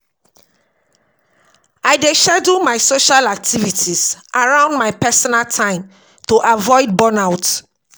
I dey schedule my social activities around my personal time to avoid burnout.